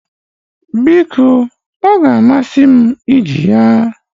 Biko, oga amasi m iji ya